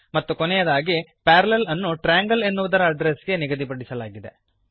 ಮತ್ತು ಕೊನೆಯದಾಗಿ ಪ್ಯಾರಲ್ಲೆಲ್ ಅನ್ನು ಟ್ರಯಾಂಗಲ್ ಎನ್ನುವುದರ ಅಡ್ಡ್ರೆಸ್ ಗೆ ನಿಗದಿಪಡಿಸಲಾಗಿದೆ